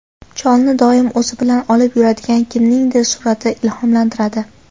Cholni doim o‘zi bilan olib yuradigan kimningdir surati ilhomlantiradi.